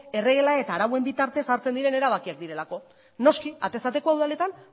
erregela eta arauen bitartez hartzen diren erabakiak direlako noski atez atekoa udaletan